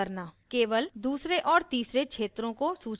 केवल दूसरे और तीसरे क्षेत्रों को सूचीबद्ध करना